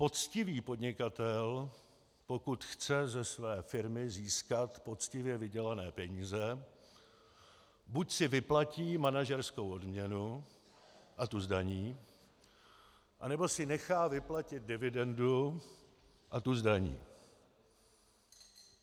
Poctivý podnikatel, pokud chce ze své firmy získat poctivě vydělané peníze, buď si vyplatí manažerskou odměnu a tu zdaní, anebo si nechá vyplatit dividendu a tu zdaní.